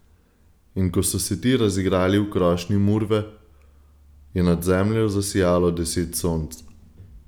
In ko so se ti razigrali v krošnji murve, je nad Zemljo zasijalo deset sonc.